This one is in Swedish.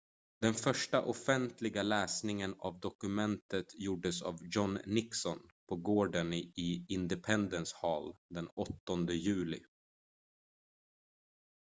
den första offentliga läsningen av dokumentet gjordes av john nixon på gården i independence hall den 8 juli